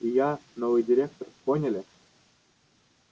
и я новый директор поняли